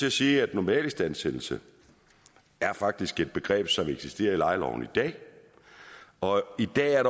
at sige at normalistandsættelse faktisk er et begreb som eksisterer i lejeloven i dag og i dag er